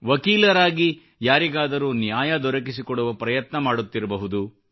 ವಕೀಲರಾಗಿ ಯಾರಿಗಾದರೂ ನ್ಯಾಯ ದೊರಕಿಸಿಕೊಡುವ ಪ್ರಯತ್ನ ಮಾಡುತ್ತಿರಬಹುದು